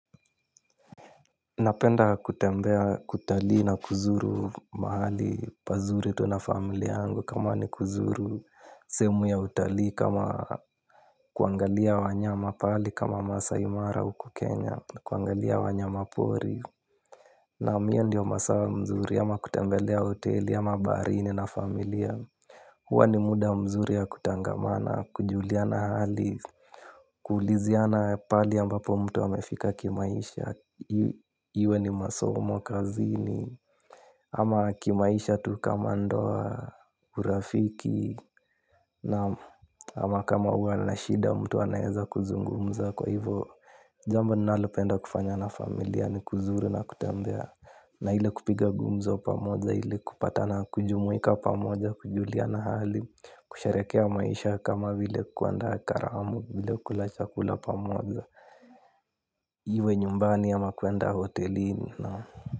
Napenda kutembea, kutalii na kuzuru mahali pazuri tu na familia yangu kama ni kuzuru sehemu ya utalii kama kuangalia wanyama pahali kama Maasai Mara huku Kenya, kuangalia wanyama pori. Naam. Hiyo ndiyo masaa mzuri ama kutembelea hoteli ama baharini na familia. Huwa ni muda mzuri ya kutangamana kujuliana hali. Kuuliziana pahali ambapo mtu amefika kimaisha. Iwe ni masomo, kazini ama kimaisha tu kama ndoa, urafiki, naam. Ama kama huwa na shida mtu anaeza kuzungumza kwa hivyo. Jambo ninalopenda kufanya na familia ni kuzuru na kutembea. Na ile kupiga gumzo pamoja ile kupatana kujumuika pamoja kujuliana hali. Kusherehekea maisha kama bile kuandaa karamu vile kula chakula pamoja iwe nyumbani ama kwenda hotelini na.